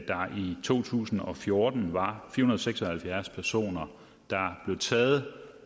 to tusind og fjorten var fire og seks og halvfjerds personer der blev taget